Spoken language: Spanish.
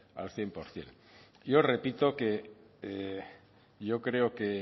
al cien por ciento y yo repito que yo creo que